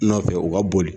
Nɔfɛ u ka boli